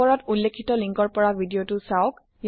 উপৰত উল্লেখিত লিংক ৰ পৰা ভিডিঅ টো চাওক